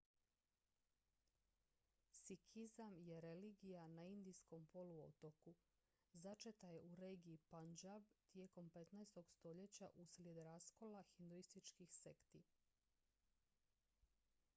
sikhizam je religija na indijskom poluotoku začeta je u regiji punjab tijekom 15. stoljeća uslijed raskola hinduističkih sekti